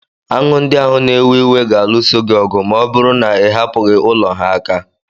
Aṅụ ndị ahụ na-ewe iwe ga-alụso gị ọgụ ma ọ bụrụ na ị hapụghị ulo ha aka